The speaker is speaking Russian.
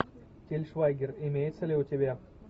тиль швайгер имеется ли у тебя